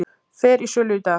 Fer í sölu í dag